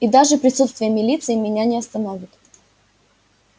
и даже присутствие милиции меня не остановит